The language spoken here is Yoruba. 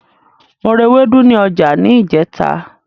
Mo ra ewédú ní ọjà ní ìjẹ́ta.